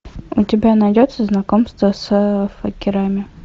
у тебя найдется знакомство с факерами